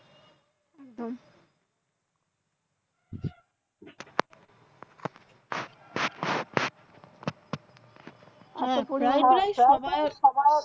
তাই বলে সবার